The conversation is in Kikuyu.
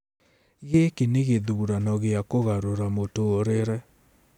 Gĩkĩ nĩ gĩthurano gĩa kũgarũrĩra mũtũũrĩre.